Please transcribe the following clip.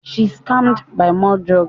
She screamed "Buy more drug"